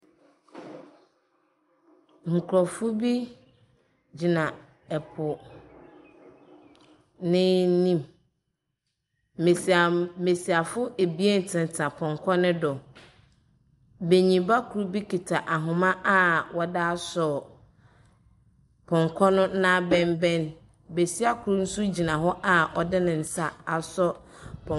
Nkurofo bi gyina ɛpo n'anim mmasiafo abien tentena ponkɔ ne do beyin ba koro bi keta ahoma a wode asɔ ponkɔ no n'abenbɛn besia koro nso gyina hɔ a ɔde nensa asɔ pɔnkɔ.